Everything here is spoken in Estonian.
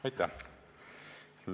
Aitäh!